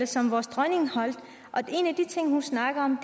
som vores dronning holdt en af de ting hun snakkede om